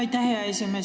Aitäh, hea esimees!